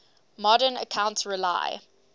modern accounts rely